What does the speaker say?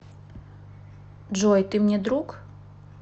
джой ты мне друг